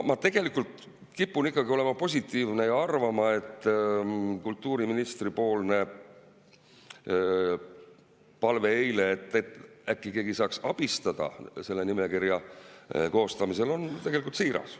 Ma kipun olema positiivne ja arvama, et kultuuriministri eilne palve, et äkki keegi saaks abistada selle nimekirja koostamisel, on tegelikult siiras.